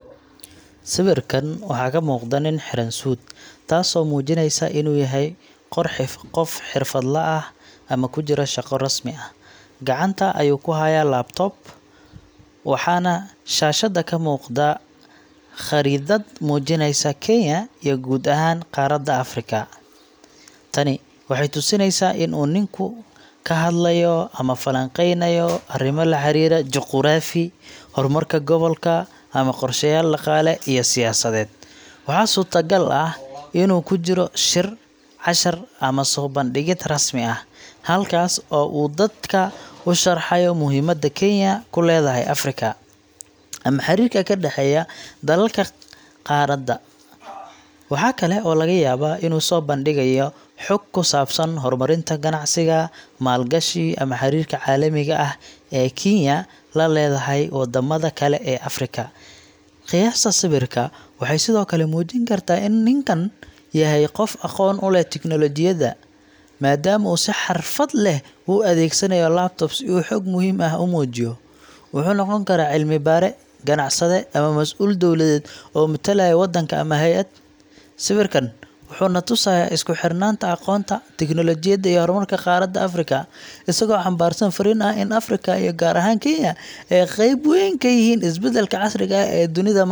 Sawirkan waxaa ka muuqda nin xiran suud, taasoo muujinaysa inuu yahay qof xirfadlaha ah ama ku jira shaqo rasmi ah. Gacanta ayuu ku hayaa laptop, waxaana shaashadda ka muuqata khariidad muujinaysa Kenya iyo guud ahaan qaaradda Afrika. Tani waxay tusinaysaa in uu ninku ka hadlayo ama falanqeynayo arrimo la xiriira juqraafi, horumarka gobolka, ama qorsheyaal dhaqaale iyo siyaasadeed. Waxaa suurtagal ah inuu ku jiro shir, cashar ama soo bandhigid rasmi ah, halkaas oo uu dadka u sharxayo muhiimadda Kenya ku leedahay Afrika, ama xiriirka ka dhexeeya dalalka qaaradda. Waxa kale oo laga yaabaa inuu soo bandhigayo xog ku saabsan horumarinta ganacsiga, maalgashi, ama xiriirka caalamiga ah ee Kenya la leedahay waddamada kale ee Afrika. Qiyaasta sawirka waxay sidoo kale muujin kartaa in ninku yahay qof aqoon u leh teknoolojiyadda, maadaama uu si xirfad leh ugu adeegsanayo laptop si uu xog muhiim ah u muujiyo. Wuxuu noqon karaa cilmi-baare, ganacsade, ama mas’uul dowladeed oo matalaya waddanka ama hay’ad. Sawirkan wuxuu na tusayaa isku xirnaanta aqoonta, tiknoolajiyadda iyo horumarka qaaradda Afrika, isagoo xambaarsan fariin ah in Afrika iyo gaar ahaan Kenya ay qayb weyn ka yihiin isbeddelka casriga ah ee dunida maanta.